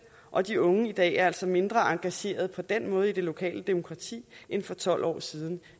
og de unge i dag er altså mindre engageret på den måde i det lokale demokrati end for tolv år siden